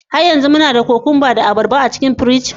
Har yanzu muna da cucumbers da abarba a cikin firiji?